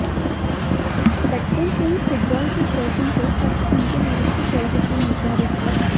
बचपन से ही फुटबॉल के शौकीन थे ताकि उनके भविष्य जल्दी से निर्धारित किया